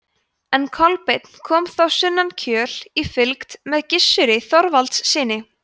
en kolbeinn kom þá sunnan kjöl í fylgd með gissuri þorvaldssyni